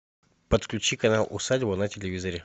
подключи канал усадьба на телевизоре